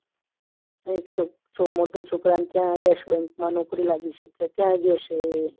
અને એક છોકરાને મોટા છોકરાને ત્યાં યશ bank માં નોકરી લાગી છે તે ત્યાં ગયો છે